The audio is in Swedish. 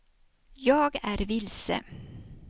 jag är vilse